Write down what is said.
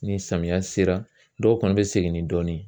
Ni samiya sera dɔw kɔni be segin ni dɔɔni ye